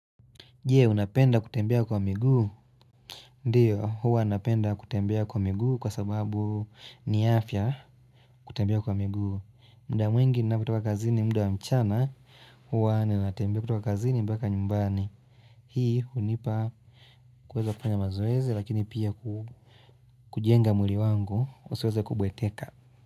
Jee, unapenda kutembea kwa miguu. Ndiyo, huwa napenda kutembea kwa miguu kwa sababu ni afya kutembea kwa miguu. Muda mwingi ninapotoka kazini mda wa mchana, huwa ninatembea kutoka kazi ni mbaka nyumbani. Hii, hunipa kuweza kufanya mazoezi, lakini pia kujenga mwili wangu, usiweza kubweteka.